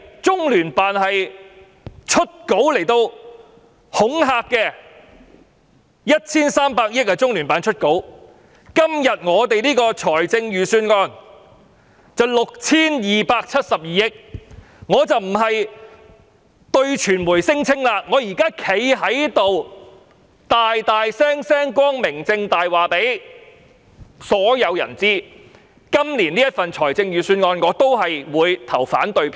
中聯辦為了 1,300 億元而發新聞稿，今天的預算案涉及 6,272 億元，我不單要對傳媒聲稱，更要站在議事堂，理直無壯及光明正大地告訴所有人，我對今年的預算案也會投反對票。